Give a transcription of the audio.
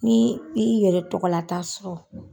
Ni i yɛrɛ tɔgɔlata sɔrɔ